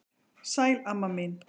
Sæl amma mín.